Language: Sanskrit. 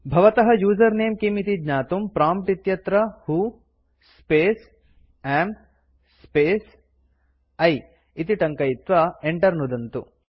भवतः यूजर नमे किम् इति ज्ञातुं प्रॉम्प्ट् इत्यत्र who space am space I इति टङ्कयित्वा enter नुदन्तु